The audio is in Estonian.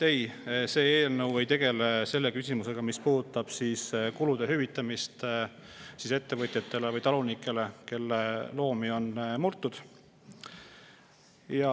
Ei, see eelnõu ei tegele selle küsimusega, mis puudutab kulude hüvitamist ettevõtjatele või talunikele, kelle loomi on murtud.